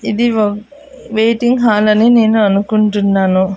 ఇది ఓ waiting hall అని నేను అనుకుంటున్నాను.